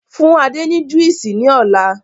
Fún Adé ni Juísì ni ọ̀la!